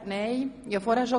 – Das ist nicht der Fall.